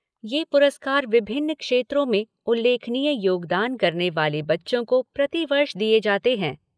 ये पुरस्कार विभिन्न क्षेत्रों में उल्लेखनीय योगदान करने वाले बच्चों को प्रतिवर्ष दिए जाते हैं।